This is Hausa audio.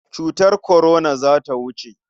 Cutar kwarona za ta wuce.